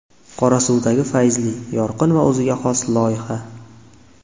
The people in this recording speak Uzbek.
Qorasuvdagi Fayzli – yorqin va o‘ziga xos loyiha.